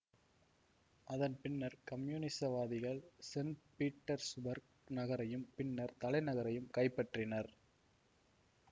அதன் பின்னர் கம்யூனிசவாதிகள் சென் பீட்டர்சுபர்க் நகரையும் பின்னர் தலைநகரையும் கைப்பற்றினர்